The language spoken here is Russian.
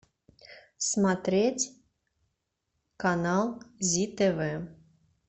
смотреть канал зи тв